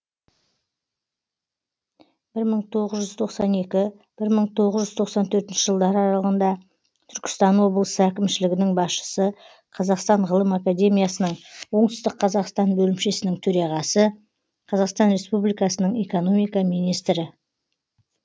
бір мың тоғыз жүз тоқсан екінші бір мың тоғыз жүз тоқсан төртінші жылдар аралығында түркістан облысы әкімшілігінің басшысы қазақстан ғылым академиясының оңтүстік қазақстан бөлімшесінің төреғасы қазақстан республикасының экономика министрі